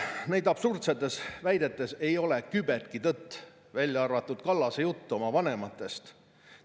Nendes absurdsetes väidetes ei ole kübetki tõtt, välja arvatud Kallase jutus oma vanemate kohta.